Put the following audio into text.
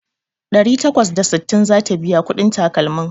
Ɗari takwas da sittin zata biya kuɗin takalmin